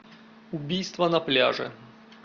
убийство на пляже